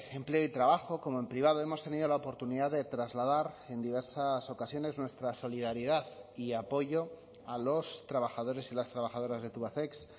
empleo y trabajo como en privado hemos tenido la oportunidad de trasladar en diversas ocasiones nuestra solidaridad y apoyo a los trabajadores y las trabajadoras de tubacex